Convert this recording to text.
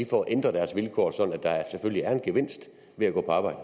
får ændret deres vilkår sådan at der selvfølgelig er en gevinst ved at gå på arbejde